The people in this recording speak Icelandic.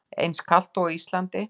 Eins kalt og á Íslandi?